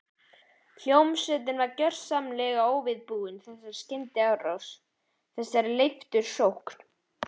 Hljómsveitin var gjörsamlega óviðbúin þessari skyndiárás, þessari leiftursókn.